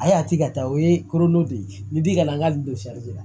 A y'a tigi ka taa o ye korondo de ye ni di kana n'a gosi